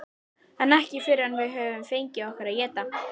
En ekki fyrr en við höfum fengið okkur að éta.